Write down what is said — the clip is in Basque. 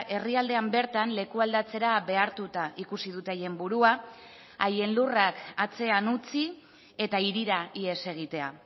herrialdean bertan lekualdatzera behartuta ikusi dute haien burua haien lurrak atzean utzi eta hirira ihes egitea